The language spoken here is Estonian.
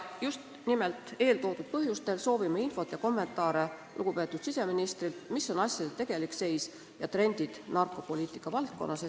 Just nimelt eeltoodud põhjustel soovime lugupeetud siseministrilt infot ja kommentaare selle kohta, milline on asjade tegelik seis ja millised on trendid narkopoliitika valdkonnas.